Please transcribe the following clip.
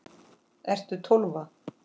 Ertu Tólfa?